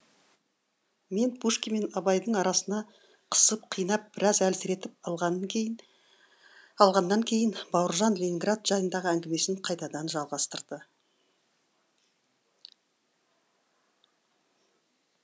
мені пушкин мен абайдың арасына қысып қинап біраз әлсіретіп алғаннан кейін бауыржан ленинград жайындағы әңгімесін қайтадан жалғастырды